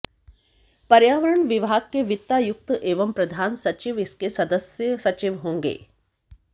पर्यावरण विभाग के वित्तायुक्त एवं प्रधान सचिव इसके सदस्य सचिव होंगे